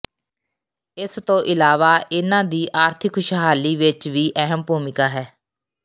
ਇਸ ਤੋਂ ਇਲਾਵਾ ਇਨ੍ਹਾਂ ਦੀ ਆਰਥਿਕ ਖੁਸ਼ਹਾਲੀ ਵਿਚ ਵੀ ਅਹਿਮ ਭੂਮਿਕਾ ਹੈ